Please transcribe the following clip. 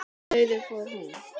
Nauðug fór hún.